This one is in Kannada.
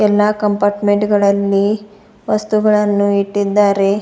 ಎಲ್ಲಾ ಕಂಪಾರ್ಟ್ಮೆಂಟ್ ಗಳಲ್ಲಿ ವಸ್ತುಗಳನ್ನು ಇಟ್ಟಿದ್ದಾರೆ.